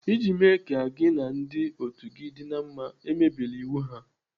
Iji mee ka gị na ndị otu gị dị na mma, emebila iwu ha.